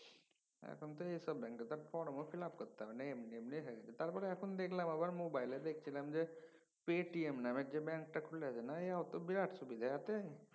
এখন তো এই সব ব্যাঙ্কে একাউন্ট করতে ফর্ম fill up করতে হবেনা। এমনি এমনি হয়ে গেছে। তারপর দেখলাম আবার মোবাইলে দেখছিলাম যে পেটিএম নামে যে ব্যাঙ্কটা খুলে তাতে বিরাট সুবিধা এয়াতে।